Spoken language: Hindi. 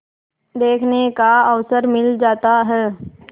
देखने का अवसर मिल जाता है